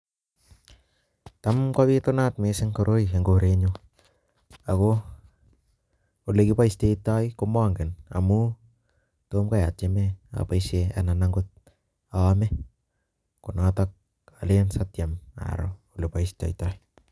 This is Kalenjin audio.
ta kobitubat misssing koroi eng korenyuu , ago ole kebaishetai komangen amuu tomkai atyemee abaishe na aaame , konotak